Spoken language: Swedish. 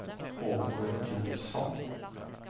Åke Jonsson